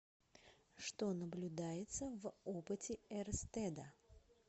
что наблюдается в опыте эрстеда